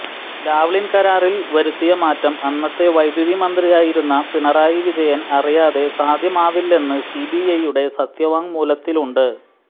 Lavalin കരാറിൽ വരുത്തിയ മാറ്റം അന്നത്തെ വൈദ്യുതി മന്ത്രിയായിരുന്ന പിണറായി വിജയൻ അറിയാതെ സാധ്യമാവില്ലെന്ന് സിബിഐയുടെ സത്യവാങ്മൂലത്തിലുണ്ട്